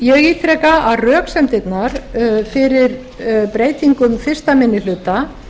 ég ítreka að röksemdirnar fyrir breytingum fyrsti minni hluta